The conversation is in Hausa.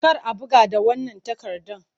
Kar a buga da wannan takardan!